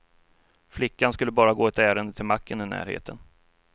Flickan skulle bara gå ett ärende till macken i närheten.